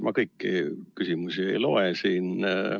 " Ma kõiki küsimusi ei loe siin ette.